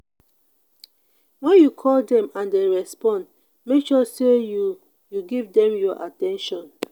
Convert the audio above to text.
when you call them and they respond make sure say you you give them your at ten tion